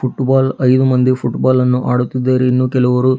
football ಐದು ಮಂದಿ football ಅನ್ನು ಆಡುತ್ತಿದ್ದಾರೆ ಇನ್ನೂ ಕೆಲವರು--